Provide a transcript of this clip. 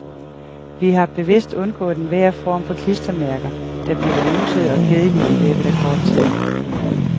Vi har bevidst undgået enhver form for klistermærker, der bliver nussede og kedelige i løbet af kort tid.